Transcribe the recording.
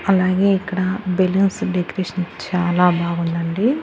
అలాగే ఇక్కడ balloons decoration చాలా బాగుందండి.